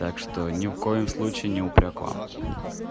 так что ни в коем случае не упрёк к вам